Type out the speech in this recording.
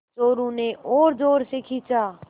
चोरु ने और ज़ोर से खींचा